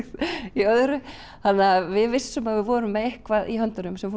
í öðru þannig að við vissum að við vorum með eitthvað í höndunum sem